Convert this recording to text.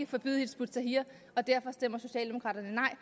forbyde hizb ut tahrir og derfor stemmer socialdemokraterne nej